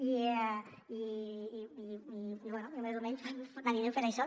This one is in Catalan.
i bé més o menys anirem fent això